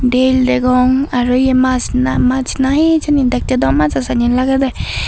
del degong aro ye maas na maas na hijeni dekkey daw majo sanye lagedey.